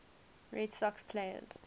red sox players